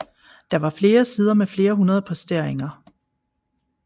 Der var flere sider med flere hundrede posteringer